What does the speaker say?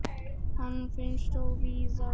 Hann finnst þó víðar.